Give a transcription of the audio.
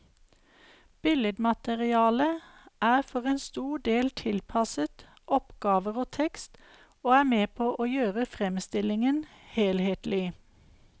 Billedmaterialet er for en stor del tilpasset oppgaver og tekst, og er med på å gjøre fremstillingen helhetlig.